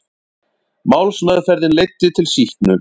Málsmeðferðin leiddi til sýknu